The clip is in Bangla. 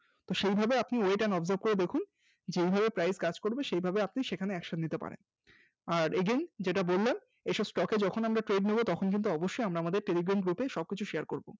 সেই ভাবে আপনি wait and observe করে দেখুন যেভাবে price কাজ করবে সেই ভাবে আপনি সেখানে Action নিতে পারবেন, আর Again যেটা বললাম এসব Stock এ যখন আমরা trade নেব তখন কিন্তু অবশ্যই আমরা আমাদের telegram group এ সবকিছু Share করব